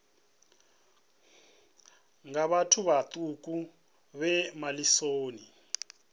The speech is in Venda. nga vhathu vhaṱuku vhe malisoni